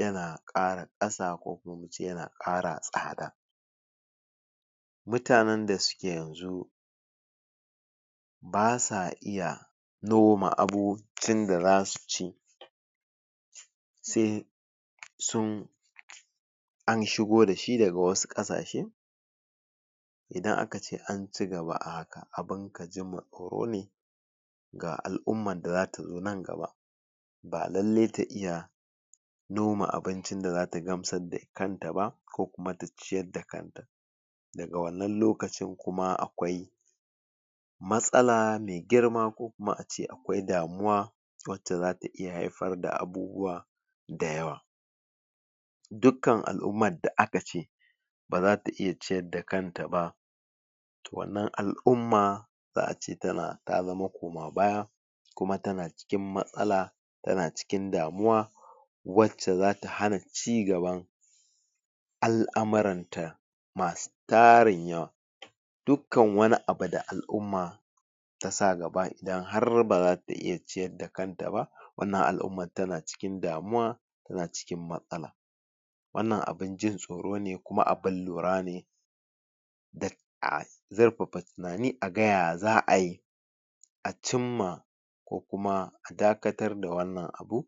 yana kara kasa yana kara tsada mutanen da suke yanzu basa iya noma abincin da zasu ci sai sun an shigo dashi daga wasu kasashe idan aka ce an cigaba a haka abun ka ji ma tsoro ne ga alumman da zata zo nan gaba ba lallai ta iya noma abincin da zata gamsar da kanta ba ko kuma ta ciyar da kanta ga wannan lokacin kuma akwai matsala mai girma ko kuma ace akwai damuwa wacce zata iya haifar da abubuwa dayawa dukkan al'umman da aka ce baza ta iya ciyar da kanta wannan al'umma za'ace ta zama koma baya kuma tana cikin matsala tana cikin damuwa wacce zata hana cigaban alamaran ta masu tarin yawa dukkan wani abu da alumma tasa gaba idan har baza ta iya ciyar da kanta ba wannan al'umman tana cikin damuwa tana cikin matsala wannan abin jin tsoro ne kuma abun lura ne duk a zurfafa tunani a ga ya za'ayi a cimma ko kuma dakatar da wannan abu